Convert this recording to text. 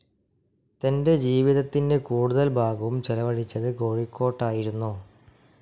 തൻ്റെ ജീവിതത്തിൻ്റെ കൂടുതൽ ഭാഗവും ചെലവഴിച്ചത് കോഴിക്കോട്ടായിരുന്നു